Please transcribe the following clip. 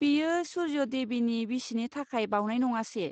बेयो सुर्य देबनि बिसिनि थाखाय बावनाय नङासे?